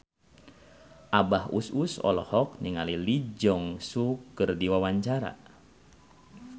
Abah Us Us olohok ningali Lee Jeong Suk keur diwawancara